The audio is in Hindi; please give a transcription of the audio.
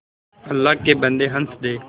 अल्लाह के बन्दे हंस दे